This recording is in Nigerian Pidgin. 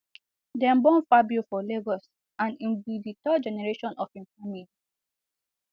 dem born fabio for lagos and im be di third generation of of im family